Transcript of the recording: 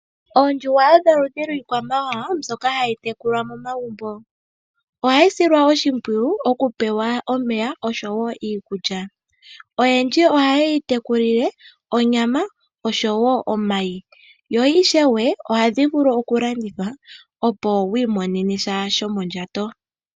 Oondjuhwa odho oludhi lwiikwamawawa mbyoka hayi tekulwa momagumbo, ohayi silwa oshimpwiyu okupewa omeya niikulya. Oyendji ohaye yi tekulile onyama nomayi dho ohadhi vulu okulandithwa opo wiimonene sha shomondjato.